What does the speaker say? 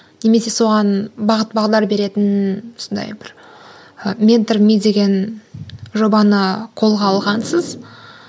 немесе соған бағыт бағдар беретін сондай бір ы ментор ми деген жобаны қолға алғансыз